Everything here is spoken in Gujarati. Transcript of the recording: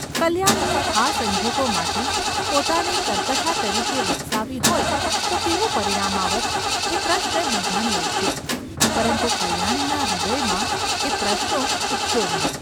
કલ્યાણીએ આ સંજોગોમાંથી પોતાને કર્કશા તરીકે વિકસાવી હોય તો કેવું પરિણામ આવત એ પ્રશ્ન બીજાને ઊપજે, પરંતુ કલ્યાણીના હૃદયમાં એ પ્રશ્નો ઊપજ્યો નહિ.